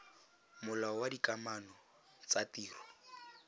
molao wa dikamano tsa ditiro